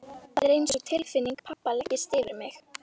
Það er einsog tilfinning pabba leggist yfir mig.